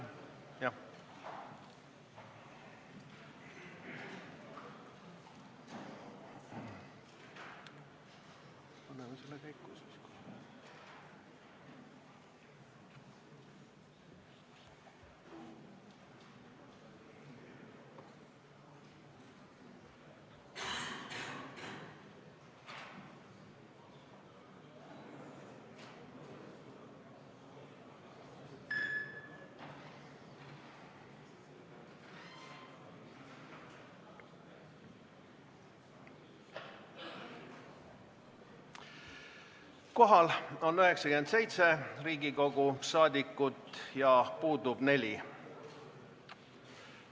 Kohaloleku kontroll Kohal on 97 Riigikogu liiget, puudub 4.